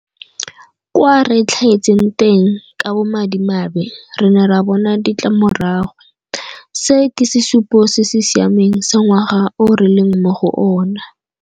Kwa re tlhaetseng teng, ka bomadimabe, re ne ra bona ditlamorago. Se ke sesupo se se siameng sa ngwaga o re leng mo go ona.